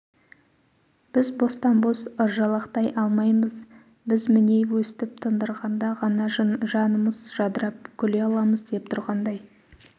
біз бостан-бос ыржалақтай алмаймыз біз міне өстіп тындырғанда ғана жанымыз жадырап күле аламыз деп тұрғандай